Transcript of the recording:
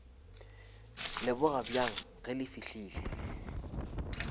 leboga bjang ge le fihlile